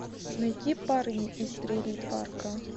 найти парни из трейлерпарка